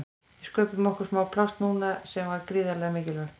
Við sköpuðum okkur smá pláss núna sem var gríðarlega mikilvægt.